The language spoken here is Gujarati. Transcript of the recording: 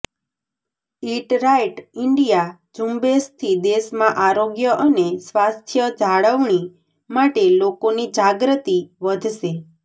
ઇટ રાઇટ ઈન્ડિયા ઝુંબેશથી દેશમાં આરોગ્ય અને સ્વાસ્થ્યજાળવણી માટે લોકોની જાગ્રતિ વધશે